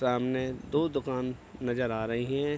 सामने दो दुकान नज़र आ रहीं हैं।